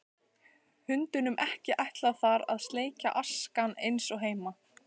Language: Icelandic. Hundunum ekki ætlað þar að sleikja askana eins og heima.